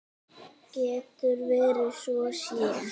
Getur verið að svo sé?